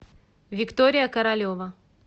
виктория королева